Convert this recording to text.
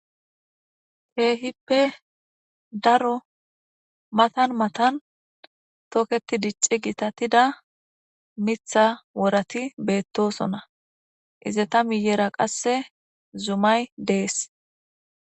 teehippe daro matan matan toketi dicci gitatida mitha worati beettosona ize ta miyeera qasse zumay dees